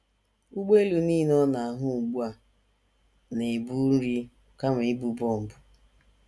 Ụgbọelu nile ọ na - ahụ ugbu a na - ebu nri kama ibu bọmbụ.